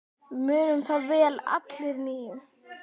Við munum það vel allir níu.